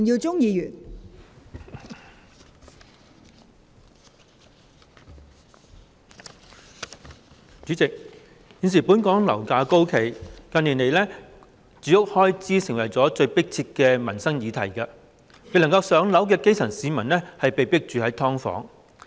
代理主席，現時本港樓價高企，住屋開支成為近年最迫切的民生議題，未能"上樓"的基層市民被迫居於"劏房"。